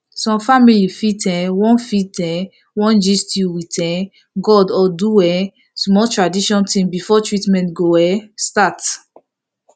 some family fit um wan fit um wan gist with um god or do um small traditional thing before treatment go start